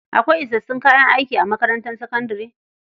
Akwai isassun kayan aiki a makarantar sakandare?